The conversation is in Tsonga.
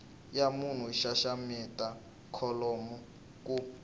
ya munhu xaxameta kholomo ku